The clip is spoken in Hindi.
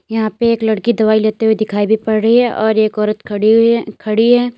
यहां पे एक लड़की दवाई लेते हुए दिखाई भी पड़ रही है और एक औरत खड़ी हुई है खड़ी हैं।